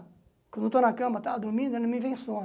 Quando eu estou na cama tal, dormindo, não me vem sono.